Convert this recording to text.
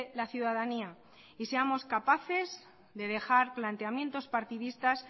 la ciudadanía y seamos capaces de dejar planteamientos partidistas